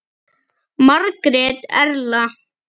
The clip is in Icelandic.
Margrét Erla.